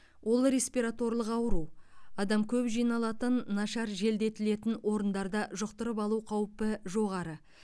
ол респираторлық ауру адам көп жиналатын нашар желдетілетін орындарда жұқтырып алу қаупі жоғары